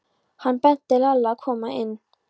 Hann benti Lalla að koma inn.